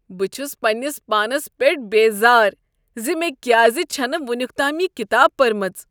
بہٕ چھس پننس پانس پیٹھ بیزار ز مےٚ کیازِ چھےٚ نہٕ ونیکتام یہ کتاب پٔرمٕژ۔